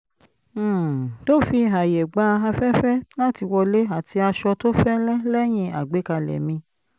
um tó fi ààyè gba afẹ́fẹ́ láti wọlé àti aṣọ tó fẹ́lẹ́ lẹ́yìn agbékalẹ̀ mi